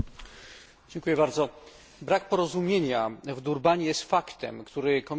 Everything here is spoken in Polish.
Brak porozumienia w Durbanie jest faktem, który Komisja powinna przyjąć do wiadomości.